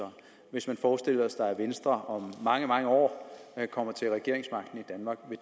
hvis man forestiller sig at venstre om mange mange år kommer til regeringsmagten i danmark vil